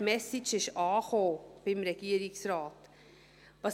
Die Message ist beim Regierungsrat angekommen.